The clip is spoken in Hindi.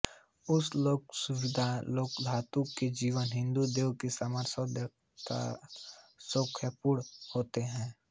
उस लोक सुखावती लोकधातु के जीव हिन्दू देवों के समान सौंदर्य तथा सौख्यपूर्ण होते हैं